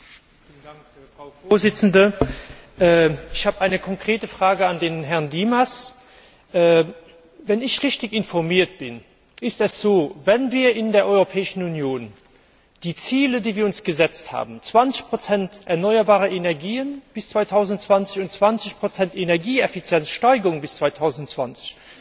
Frau Präsidentin! Ich habe eine konkrete Frage an Herrn Dimas. Wenn ich richtig informiert bin, ist es so Wenn wir in der Europäischen Union die Ziele, die wir uns gesetzt haben 20 erneuerbare Energien bis 2020 und 20 Energieeffizienzsteigerung bis 2020